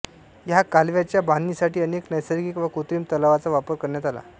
ह्या कालव्याच्या बांधणीसाठी अनेक नैसर्गिक व कृत्रिम तलावांचा वापर करण्यात आला